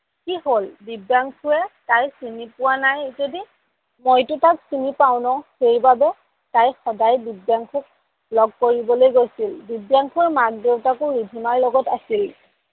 কি হ'ল দিব্যাংসুয়ে তাইক চিনি পোৱা নাই যদি, মইটো তাক চিনি পাও নহ সেইবাবে তাই সদায় দিব্যাংসুক লগ কৰিবলৈ গৈছিল। দিব্যাংসুৰ মাক দেউতাকো ৰিধিমাৰ লগত আছিল